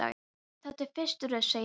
Þetta er fyrir rusl, segi ég.